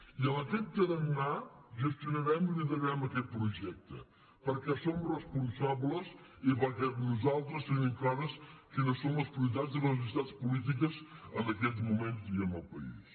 i amb aquest tarannà gestionarem i liderarem aquest projecte perquè som responsables i perquè nosaltres tenim clares quines són les prioritats i les necessitats polítiques en aquests moments i en el país